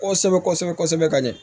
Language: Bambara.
Kɔsɛbɛ kɔsɛbɛ kɔsɛbɛ ka ɲɛ